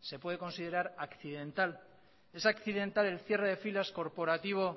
se puede considerar accidental es accidental el cierre de filas corporativo